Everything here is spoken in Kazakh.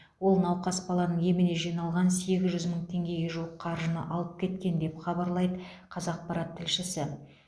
ол науқас баланың еміне жиналған сегіз жүз мың теңгеге жуық қаржыны алып кеткен деп хабарлайды қазақпарат тілшісі